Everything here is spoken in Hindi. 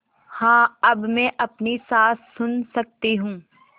हाँ अब मैं अपनी साँस सुन सकती हूँ